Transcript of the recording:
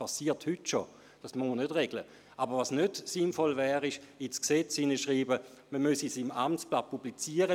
Weisen Sie dies zumindest an die Kommission zurück.